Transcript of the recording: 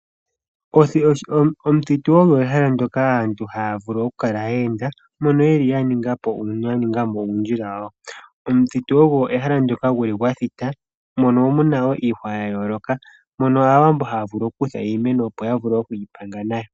Omuthitu ogwo ehala ndyoka aantu haya vulu okukala yeenda, mono yeli yaningamo uundjila wawo . Omuthitu olyo ehala ndyoka hali kala lyathita mono muna woo iihwa yayooloka mono Aawambo haya vulu okukutha iimeno opo yavule okwiipanga nayo.